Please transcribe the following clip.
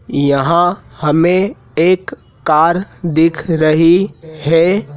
यहां हमें एक कार दिख रही है।